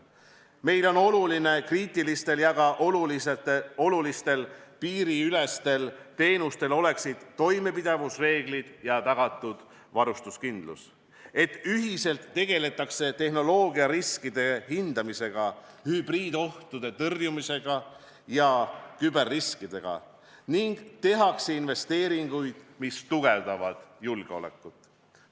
Meile on oluline, et kriitilistel ja ka olulistel piiriülestel teenustel oleksid toimepidavusreeglid ja oleks tagatud varustuskindlus, et ühiselt tegeletaks tehnoloogiariskide hindamisega, hübriidohtude tõrjumisega ja küberriskidega ning tehtaks investeeringuid, mis tugevdavad julgeolekut.